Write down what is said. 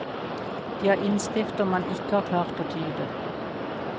De har innskrifter man ikke har klart å tyde.